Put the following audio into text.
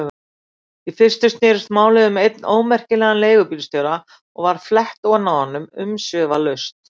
Í fyrstu snerist málið um einn ómerkilegan leigubílstjóra og var flett ofan af honum umsvifalaust.